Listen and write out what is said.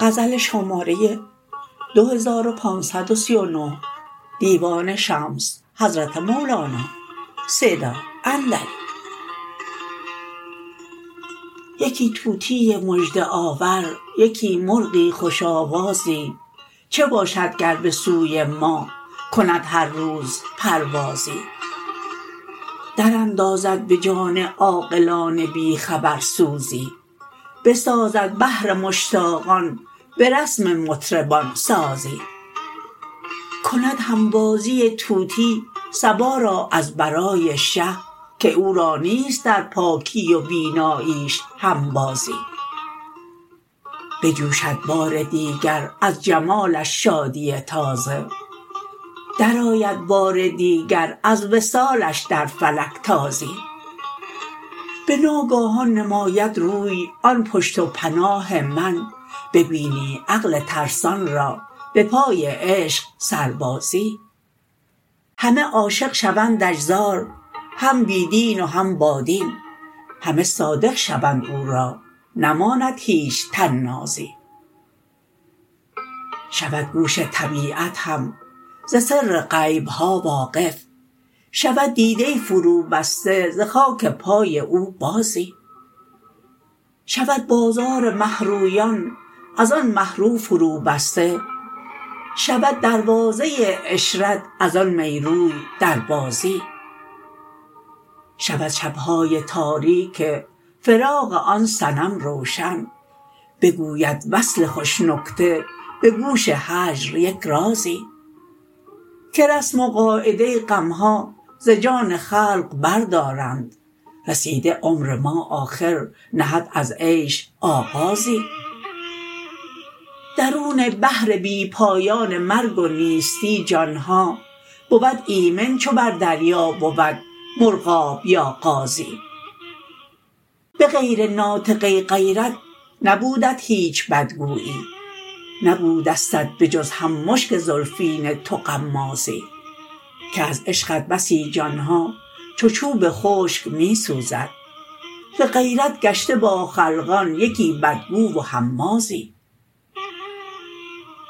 یکی طوطی مژده آور یکی مرغی خوش آوازی چه باشد گر به سوی ما کند هر روز پروازی دراندازد به جان عاقلان بی خبر سوزی بسازد بهر مشتاقان به رسم مطربان سازی کند هنبازی طوطی صبا را از برای شه که او را نیست در پاکی و بیناییش هنبازی بجوشد بار دیگر از جمالش شادی تازه درآید بار دیگر از وصالش در فلک تازی به ناگاهان نماید روی آن پشت و پناه من ببینی عقل ترسان را به پای عشق سربازی همه عاشق شوندش زار هم بی دین و هم بادین همه صادق شوند او را نماند هیچ طنازی شود گوش طبیعت هم ز سر غیب ها واقف شود دیده فروبسته ز خاک پای او بازی شود بازار مه رویان از آن مه رو فروبسته شود دروازه عشرت از آن می روی در بازی شود شب های تاریک فراق آن صنم روشن بگوید وصل خوش نکته به گوش هجر یک رازی که رسم و قاعده غم ها ز جان خلق بردارند رسیده عمر ما آخر نهد از عیش آغازی درون بحر بی پایان مرگ و نیستی جان ها بود ایمن چو بر دریا بود مرغاب یا قازی به غیر ناطقه غیرت نبودت هیچ بدگویی نبودستت به جز هم مشک زلفین تو غمازی که از عشقت بسی جان ها چو چوب خشک می سوزد ز غیرت گشته با خلقان یکی بدگو و همازی